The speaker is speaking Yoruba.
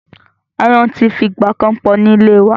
Aáyán ti fi ìgbà kan pọ̀ ní ìlé wa.